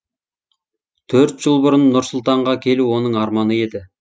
төрт жыл бұрын нұр сұлтанға келу оның арманы еді